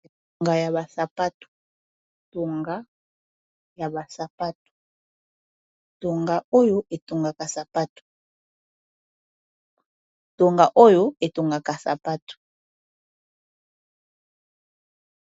Tonga oyo etongaka sapatu.